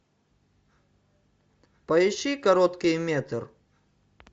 поищи короткий метр